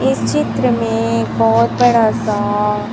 इस चित्र में एक बहुत बड़ा सा--